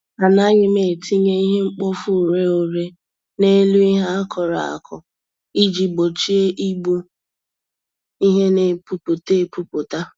Anaghị m etinye ihe-mkpofu-ureghure n'elu ihe akụrụ akụ iji gbochie igbu ihe n'epu pụta epuputa